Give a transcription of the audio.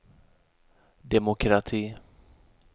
demokrati